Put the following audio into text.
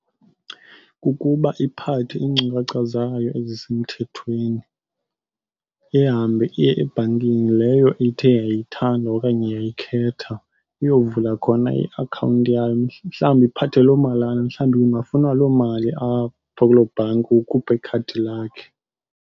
Kukuba iphathe iinkcukacha zayo ezisemthethweni ihambe iye ebhankini leyo ithe yayithanda okanye yayikhetha iyovula khona iakhawunti yayo. Mhlawumbi iphathe loo malana, mhlawumbi kungafunwa loo mali apho kuloo bhanki, ukhupha ikhadi lakhe.